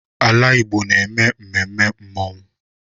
Ala Igbo na-eme mmemme mmanwụ.